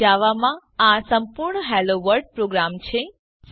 અહીં જાવા માં આ સંપૂર્ણ હેલોવર્લ્ડ પ્રોગ્રામ છે